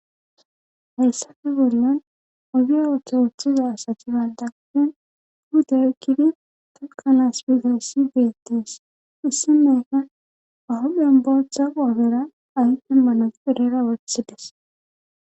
hassafe bollon ogi ooto wuoththiza asati baaldapin huute ukkidi tokkanas bizassi beettes issi meaka ahophen bootha qoofera aydimmanas pidera wothides